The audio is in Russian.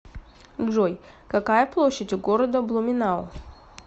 джой какая площадь у города блуменау